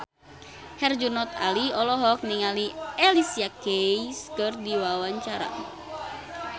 Herjunot Ali olohok ningali Alicia Keys keur diwawancara